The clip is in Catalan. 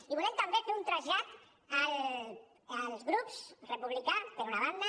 i volem també fer un trasllat als grups republicà per una banda